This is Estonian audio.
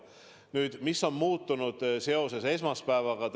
Nüüd, mis on muutunud seoses esmaspäevaga?